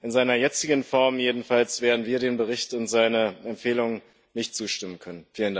In seiner jetzigen Form jedenfalls werden wir dem Bericht und seinen Empfehlungen nicht zustimmen können.